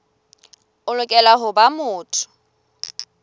o lokela ho ba motho